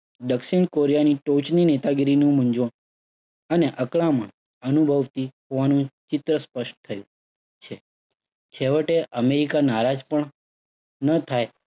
દક્ષિણ કોરિયાની ટોચની નેતાગીરીનું મૂંઝવણ અને અકરામણ અનુભવતી હોવાનું ચિત્ર સ્પષ્ટ થયું છે. છેવટે, અમેરિકા નારાજ પણ ન થાય